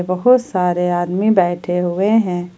बहोत सारे आदमी बैठे हुए हैं ।